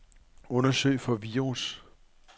Undersøg for virus.